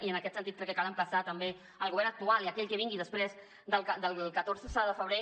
i en aquest sentit crec que cal emplaçar també el govern actual i aquell que vingui després del catorze de febrer